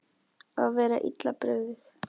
Að vera illa brugðið